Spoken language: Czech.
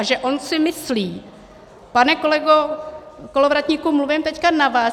A že on si myslí - pane kolego Kolovratníku, mluvím teď na vás.